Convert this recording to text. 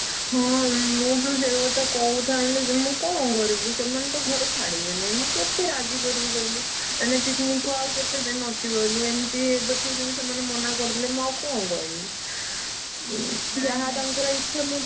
ହଁ ମୁଁ ବା ସେଇକଥା କହୁଥାନ୍ତି। ମୁଁ କଣ କରିବି ସେମାନେତ ଘରେ ଛାଡ଼ିବେନି। ମୁଁ କେତେ ରାଜି କରେଇବି କହିଲୁ ମାନେ picnic କୁ ଆଉ କେତେ ଦିନ ଅଛି କହିଲୁ? ଏମତି ଏବେଠୁ ଯଦି ସେମାନେ ମନା କରିଦେଲେ, ମୁଁ ଆଉ କଣ କହିବି? ଯାହା ତାଙ୍କର ଇଛା।